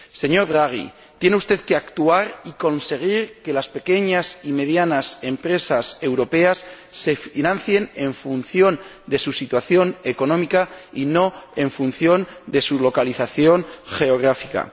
Señor Draghi, tiene usted que actuar y conseguir que las pequeñas y medianas empresas europeas se financien en función de su situación económica, y no en función de su localización geográfica.